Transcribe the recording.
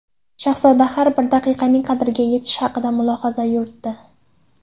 Shahzoda har bir daqiqaning qadriga yetish haqida mulohaza yuritdi.